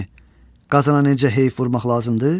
Bəylər, bilirsinizmi, Qazana necə heyf vurmaq lazımdır?